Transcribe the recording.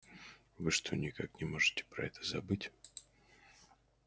вы что никак не можете про это забыть